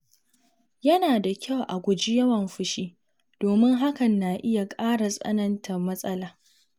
Yana da kyau a guji yawan fushi domin hakan na iya ƙara tsananta matsala.